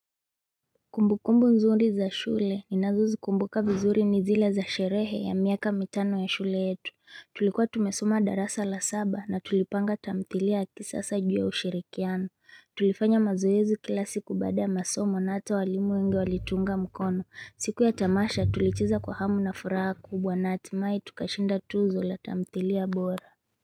Kumbukumbu nzuri za shule ninazo zikumbuka vizuri ni zile za sherehe ya miaka mitano ya shule yetu Tulikuwa tumesoma darasa la saba na tulipanga tamthilia ya kisasa juu ya ushirikiano Tulifanya mazoezi kila siku baada ya masomo na hata walimu wengi walituunga mkono siku ya tamasha tulicheza kwa hamu na furaha kubwa na hatimai tukashinda tuzo la tamthilia bora.